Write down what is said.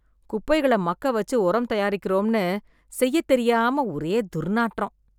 குப்பைகள மக்கவச்சு உரம் தயாரிக்கிறோம்னு, செய்யத்தெரியாம ஒரே துர்நாற்றம்